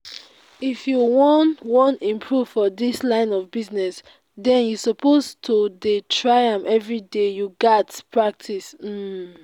if you wan wan improve for dis line of business den you suppose to dey try am everyday. you gats pratice um